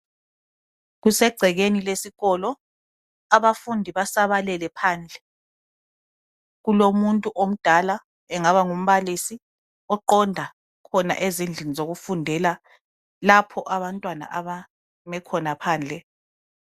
Kusegcekeni lesikolo. Abafundi basabalele phandle. Kulomuntu omdala, engaba ngumbalisi, oqonda khona ezindlini zokufundela. Lapho abantwana, abeme khona phandle.